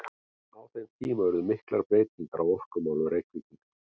Á þeim tíma urðu miklar breytingar á orkumálum Reykvíkinga.